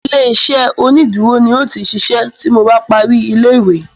Ilé-iṣẹ́ iṣedúró ni n o ti ṣiṣẹ́ tí mo bá parí ilé-ìwé